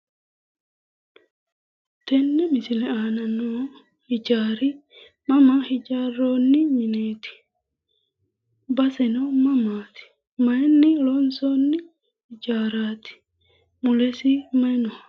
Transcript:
Tenne misile aana noo hijaari mama hijaarroonni mineeti baseno mamaati mayinni loonsoonni hijaaraati mulesi mayi no